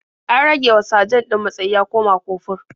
An ragewa sajan ɗin matsayi ya koma kofur.